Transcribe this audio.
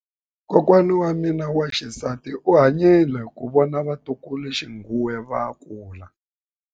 Kokwa wa mina wa xisati u hanyile ku vona vatukuluxinghuwe va kula.